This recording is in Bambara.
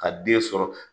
Ka den sɔrɔ